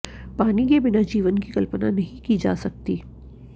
पानी के बिना जीवन की कल्पना नहीं की जा सकती